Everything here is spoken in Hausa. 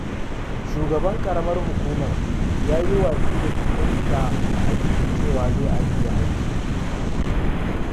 Shugaban ƙaramar hukumar ya yi watsi da jita-jita da ake yi cewa zai ajiye aiki.